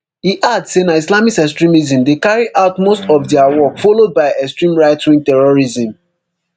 e add say na islamist extremism dey carry out most of dia work followed by extreme rightwing terrorism